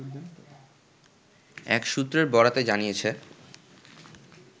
এক সূত্রের বরাতে জানিয়েছে